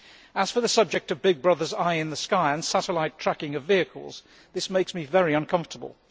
As for the subject of Big Brother's eye in the sky' and satellite tracking of vehicles, this makes me very uncomfortable.